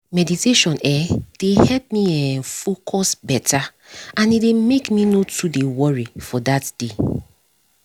meditation eh dey help me um focus beta and e dey make me nor too dey worry for that day